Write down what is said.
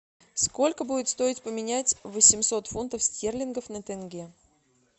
сколько будет стоить поменять восемьсот фунтов стерлингов на тенге